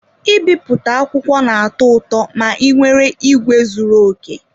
I bipụta akwụkwọ na-atọ ụtọ ma ị nwere ìgwè zuru okè.